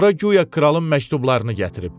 Ora guya kralın məktublarını gətirib.